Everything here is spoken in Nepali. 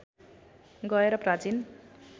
गएर प्राचीन